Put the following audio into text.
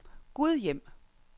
Gudhjem